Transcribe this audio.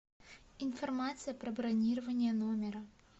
информация про бронирование номера